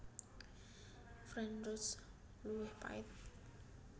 French Roast luwih pahit